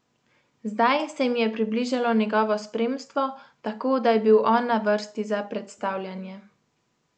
Zdaj se jim je približalo njegovo spremstvo, tako da je bil on na vrsti za predstavljanje.